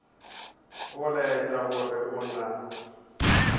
go laetša gore go na